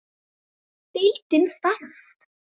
Deildin þarf